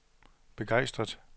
begejstret